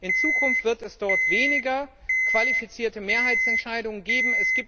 In Zukunft wird es dort weniger qualifizierte Mehrheitsentscheidungen geben.